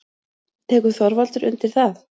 Tekur Þorvaldur undir það?